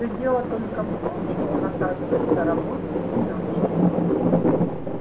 все дело только в том что он оказывается работает иначе